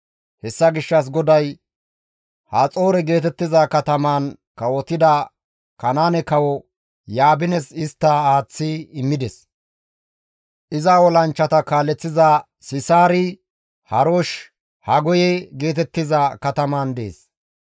Hessa gishshas GODAY Haxoore geetettiza katamaan kawotida Kanaane kawo Yaabines istta aaththi immides; iza olanchchata kaaleththiza Sisaari Haroshe-Hagoye geetettiza kataman dees.